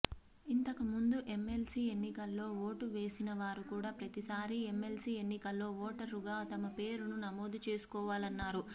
ఇంతక ముందు ఎమ్మెల్సీ ఎన్నికల్లో ఓటు వేసిన వారుకూడా ప్రతిసారి ఎమ్మెల్సీ ఎన్నికల్లో ఓటరుగా తమ పేరును నమోదు చేసుకోవాలన్నారు